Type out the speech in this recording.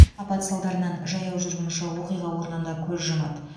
апат салдарынан жаяу жүргінші оқиға орнында көз жұмады